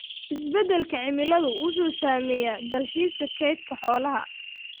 Isbeddelka cimiladu wuxuu saameeyaa dalxiiska kaydka xoolaha.